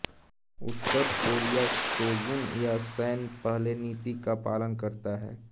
उत्तर Korea सोंगुन या सैन्यपहले नीति का पालन करता है